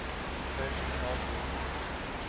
persian gulf region